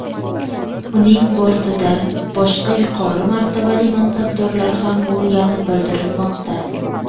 Uning bortida boshqa yuqori martabali mansabdorlar ham bo‘lganni bildirilmoqda.